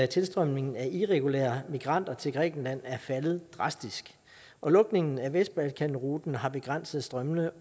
tilstrømningen af irregulære migranter til grækenland er faldet drastisk og lukningen af vestbalkanruten har begrænset strømmene